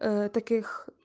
таких